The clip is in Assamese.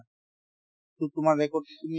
to তোমাৰ record তুমি